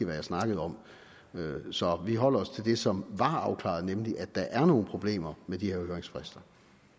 jeg snakkede om så vi holder os til det som var afklaret nemlig at der er nogle problemer med de her høringsfrister